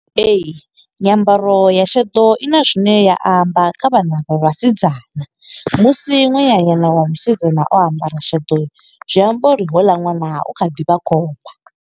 Ee, nyambaro ya sheḓo i na zwine ya amba, kha vhana vha vhasidzana. Musi nwananyana wa musidzana, o ambara sheḓo, zwi amba uri houḽa ṅwana u kha ḓi vha khomba.